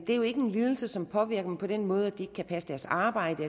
en lidelse som påvirker dem på den måde at de ikke kan passe deres arbejde